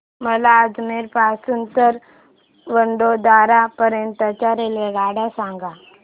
मला अजमेर पासून तर वडोदरा पर्यंत च्या रेल्वेगाड्या सांगा